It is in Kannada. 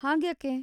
ಹಾಗ್ಯಾಕೆ?